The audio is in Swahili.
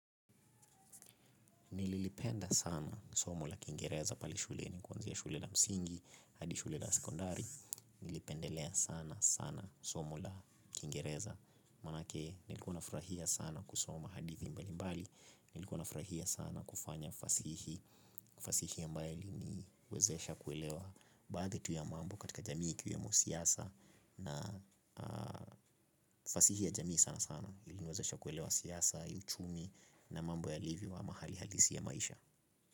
Nililipenda sana somo la kingereza pale shule ni kwanze ya shule la msingi, hadi shule la sekondari, nilipendelea sana sana somo la kingereza, manake nilikua nafurahia sana kusoma hadithi mbali mbali, nilikua nafurahia sana kufanya fasihi, fasihi ambayo iliniwezesha kuelewa baadhi ya mambo katika jamii ikiwemo siasa na fasihi ya jamii sana sana, iliwezesha kuelewa siasa, uchumi na mambo yalivyo ama hali halisi ya maisha.